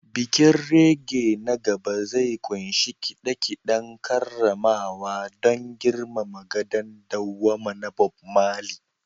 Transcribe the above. Bikin reggae na gaba zai ƙunshi kide-kiden karramawa don girmama gadon dawwama na Bob Marley